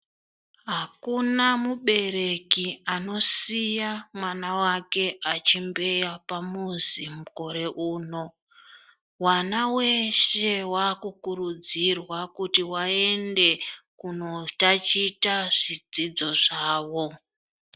Akuna mubereki anosiya mwana wake achimbeya pamuzi mukore uno, vana veshe vakukurudzirwa kuti vaende kunotachita zvidzidzo zvawo.